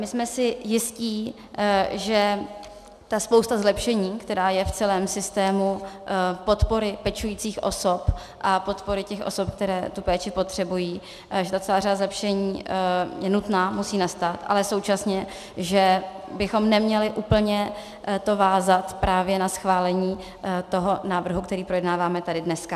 My jsme si jisti, že ta spousta zlepšení, která je v celém systému podpory pečujících osob a podpory těch osob, které tu péči potřebují, že ta celá řada zlepšení je nutná, musí nastat, ale současně, že bychom neměli úplně to vázat právě na schválení toho návrhu, který projednáváme tady dneska.